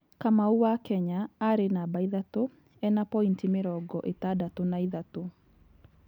Kamau wa Kenya arĩ namba ithatũ ena pointi mĩrongo ĩtandatũ na ĩtatũ.